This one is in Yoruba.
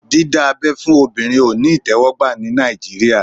Dídá abẹ́ fún obìnrin òní ìtẹ́wọ́gbà ní Nàìjíríà